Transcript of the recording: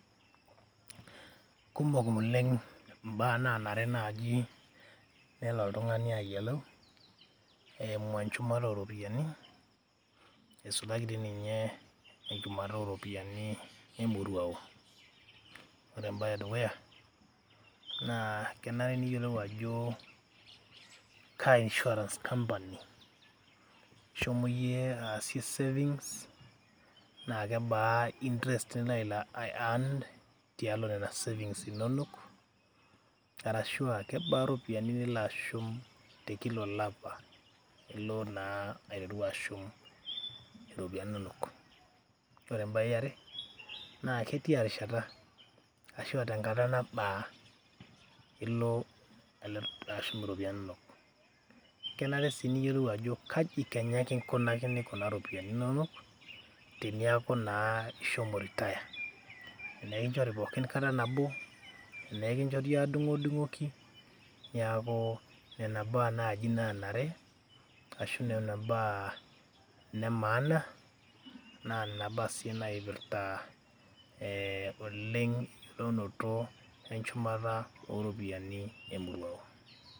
kumok oleng imbaa nanare naaji nelo oltung'ani ayiolou eimu enchumata oropiyiani eisulaki dii ninye enchumata oropiyiani emoruao, ore embaye edukuya naa kenare niyiolou ajo kaa insurance company ishomo iyie aasie savings naa kebaa interest nilo ae earn tialo nana savings inonok arashua kebaa iropiyiani nilo ashum te kila olapa ilo naa aiteru ashum iropiyiani inonok, ore embaye yiare naa ketia rishata ashua tenkata nabaa ilo ashum iropiyiani inonok kenare sii niyiolou ajo kaji kenya kinkunakini kuna ropiyiani inonok reniaku naa ishomo retire tenaa ekinchori pookin kata nabo tenaa ekinchori adung'udung'oki niaku nena baa naaji nanare ashu nena baa ine maana naa nena baa sii naipirrta ee oleng eyiolounoto wenchumata oropiyiani emoruao.